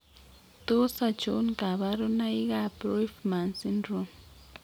Tos achon kabarunaik ab Roifman syndrome ?